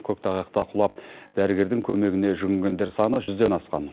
көктайғақта құлап дәрігердің көмегіне жүгінгендер саны жүзден асқан